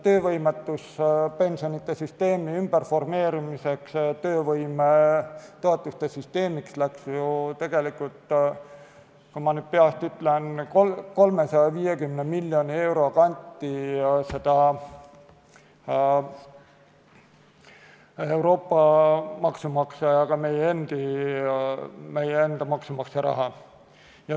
Töövõimetuspensionide süsteemi ümberformeerimiseks töövõimetoetuste süsteemiks läks, ma nüüd peast ütlen, 350 miljoni euro kanti Euroopa maksumaksja ja ka meie enda maksumaksja raha.